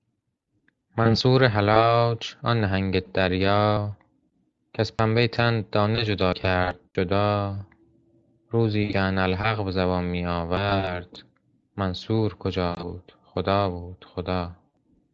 منصور حلاج آن نهنگ دریا کز پنبه تن دانه جان کرد جدا روزی که انا الحق به زبان می آورد منصور کجا بود خدا بود خدا